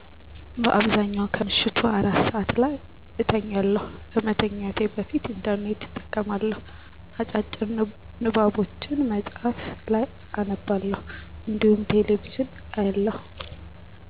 በአብዛኛው ከምሽቱ አራት ሰዐት ላይ እተኛለሁ። ከመተኛቴ በፊት "ኢንተርኔት" እጠቀማለሁ፣ አጫጭር ንባቦችን መጽሀፍ ላይ አነባለሁ እንዲሁም ቴሌ ቪዥን አያለሁ።